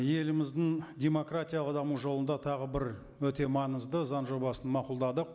еліміздің демократиялық даму жолында тағы бір өте маңызды заң жобасын мақұлдадық